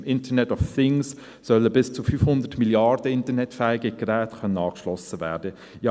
Mit den Internet of Things sollen bis zu 500 Milliarden internetfähige Geräte angeschlossen werden können.